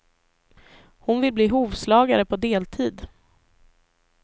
Hon vill bli hovslagare på deltid.